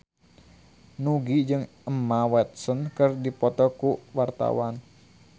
Nugie jeung Emma Watson keur dipoto ku wartawan